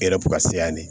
E yɛrɛ bɛ ka se yan de